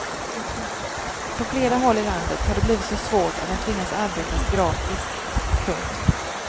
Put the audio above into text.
På flera håll i landet har det blivit så svårt att de tvingas arbeta gratis. punkt